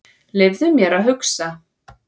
Leyfðu mér að hugsa.